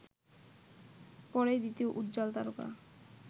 পরেই দ্বিতীয় উজ্জ্বল তারকা